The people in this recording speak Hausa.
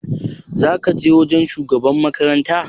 Za ka je wajen shugaban makaranta?